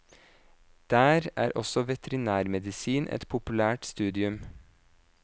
Der er også veterinærmedisin et populært studium.